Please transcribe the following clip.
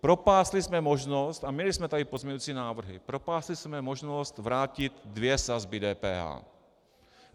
Propásli jsme možnost, a měli jsme tady pozměňující návrhy, propásli jsme možnost vrátit dvě sazby DPH.